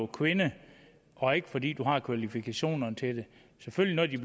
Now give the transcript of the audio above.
kvinde og ikke fordi hun har kvalifikationerne til det selvfølgelig har de